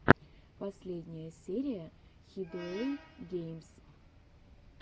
последняя серия хидуэйгеймс